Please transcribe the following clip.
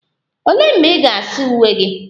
Olee mgbe ị ga-asa uwe gị?